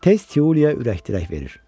Tez Tiuliya ürək dirək verir.